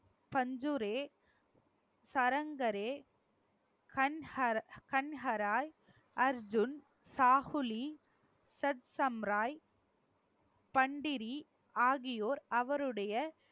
பஞ்சுரே, சரங்கரே, கண்க~ கண்கராய் அர்ஜுன், சாகுலி, சத் சம்ராய் பண்டிரி ஆகியோர் அவருடைய